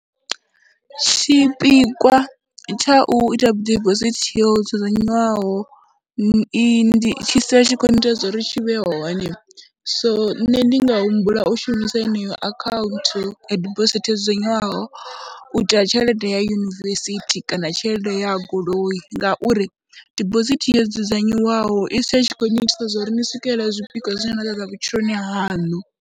Tshipikwa tsha u ita dibosithi yo dzudzanywaho i, ndi, tshi sala i tshi khou ita zwo ri tshi vhe hone so nṋe ndi nga humbula u shumisa yeneyo akhaunthu ya dibosithi yo dzudzanyiwaho u itela tshelede ya u ya yunivesithi kana tshelede ya goloi, ngauri dibosithi yo dzudzanyiwaho i sia i tshi khou nnyitisa zwo ri ni swikelela zwipikwa zwine na khou ṱḓa vhutshiloni haṋu.